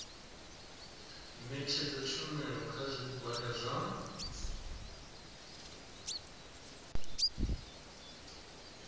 ṋetshedza tshumelo kha zwigwada zwa